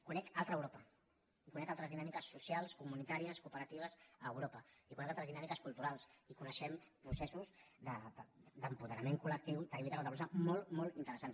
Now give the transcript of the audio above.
conec altra europa i conec altres dinàmiques socials comunitàries cooperatives a europa i conec altres dinàmiques culturals i coneixem processos d’apoderament col·lectiu de lluita contra la població molt molt interessants